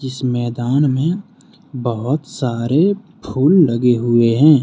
इस मैदान में बहोत सारे फूल लगे हुए हैं।